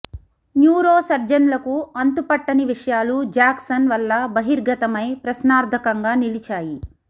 neuro సర్జన్లకు అంతుపట్టని విషయాలు జాక్సన్ వల్ల బహిర్గతమై ప్రశ్నార్థకంగా నిలిచాయి